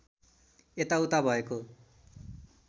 यता उता भएको